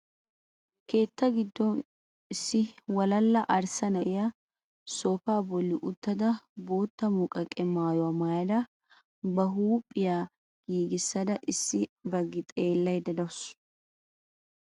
Keetta gido issi walala arssa na'iya soofaa bolli uttada bootta muqaqe maayuwa maayada ba huuphphiya giigissisada issi bagi xeellaydda de'awusu.